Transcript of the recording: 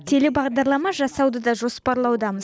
телебағдарлама жасауды да жоспарлаудамыз